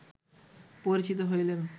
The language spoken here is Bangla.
পরিচিত হইলেন